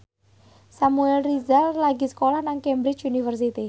Samuel Rizal lagi sekolah nang Cambridge University